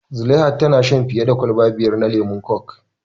Zulaiha tana shan fiya da kwalba biyar na lemon kok